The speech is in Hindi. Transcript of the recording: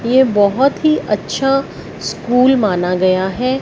ये बहोत हि अच्छा स्कूल माना गया है।